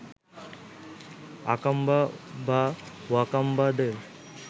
আকাম্বা বা ওয়াকাম্বাদের